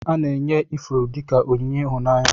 Ana enye ifuru dika onyinye ihụnanya.